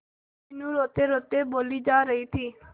मीनू रोतेरोते बोली जा रही थी